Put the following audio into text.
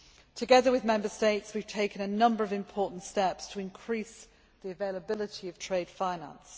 Together with Member States, we have taken a number of important steps to increase the availability of trade finance.